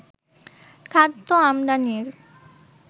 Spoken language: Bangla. খাদ্য আমদানির